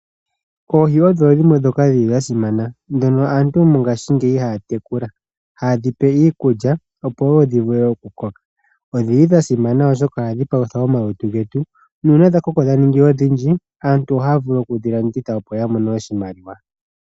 Oohi odho dhimwe dhi li dha simana, ndhoka aantu mongaashingeyi ha ya tekula. Oha ye dhi pe iikulya opo dhi vule okukoka. Odhi li dha simana oshoka ohadhi palutha omalutu getu. Uuna dha koko, dha ningi odhindji, aantu oha ya vulu okudhiladhila opo ya mone oshimaliwa.